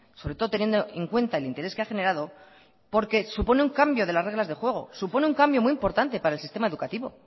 sobre todo teniendo en cuenta el interés que ha generado porque supone un cambio de las reglas del juego supone un cambio muy importante para el sistema educativo